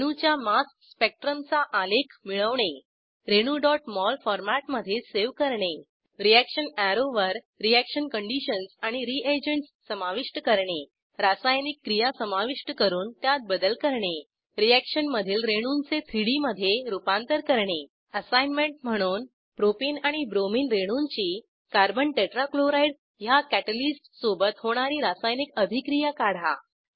रेणूच्या mass spectrum चा आलेख मिळवणे रेणू mol फॉरमॅटमधे सेव्ह करणे रीअॅक्शन अॅरोवर रीअॅक्शन कंडिशन्स आणि रीएजंटस समाविष्ट करणे रासायनिक क्रिया समाविष्ट करून त्यात बदल करणे रीअॅक्शन मधील रेणूंचे 3डी मधे रूपांतर करणे असाईनमेंट म्हणून 1Propene आणि ब्रोमिन रेणूंची कार्बन tetrachlorideह्या कॅटॅलिस्ट सोबत होणारी रासायनिक अभिक्रिया काढा